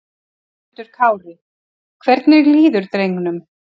Höskuldur Kári: Hvernig líður drengnum?